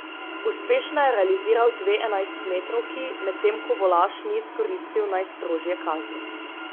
Uspešno je realiziral dve enajstmetrovki, medtem ko Volaš ni izkoristil najstrožje kazni.